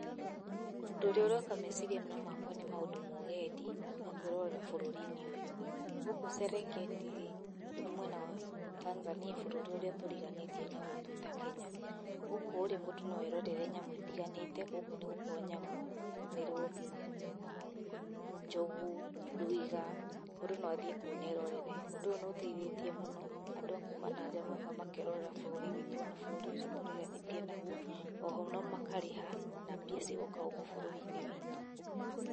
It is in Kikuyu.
Ũndũ ũrĩa ũroka meciria-inĩ makwa nĩ ũhoro wa ũgendi, na kwĩrorera bũrũri-inĩ ũyũ. Gũkũ Serengeti-rĩ nĩ mwena wa Tanzania bũrũri ũrĩa tũriganĩtie naguo twĩta Kenya. Gũkũ- rĩ mũndũ no erorere nyamũ itiganĩte, gũkũ nĩ gũkoragwo nyamũ ta mĩrũthi, njogu, ndwiga, mũndũ no athiĩ kũu na erorere. Ũndũ ũyũ nĩ ũteithĩtie mũno andũ a kuma na nja magoka makerorera bũrũri witũ ona ũyũ tũriganĩtie naguo. Oho ona makarĩha na mbia cigoka gũkũ ũrũri-inĩ witũ.